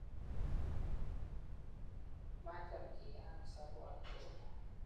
maacham keyeaan solwo age tugul